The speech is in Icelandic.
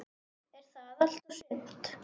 Er það allt og sumt?